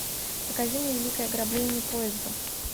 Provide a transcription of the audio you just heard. покажи мне великое ограбление поезда